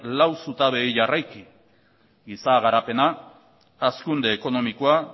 lau zutabeei jarriki giza garapena hazkunde ekonomikoa